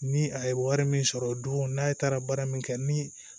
Ni a ye wari min sɔrɔ dun n'a ye taara baara min kɛ ni